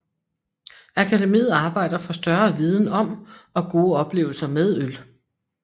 Akademiet arbejder for større viden om og gode oplevelser med øl